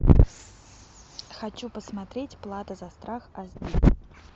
хочу посмотреть плата за страх аш ди